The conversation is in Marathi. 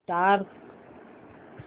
स्टार्ट